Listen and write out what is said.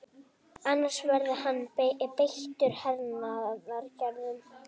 Annars verði hann beittur hernaðaraðgerðum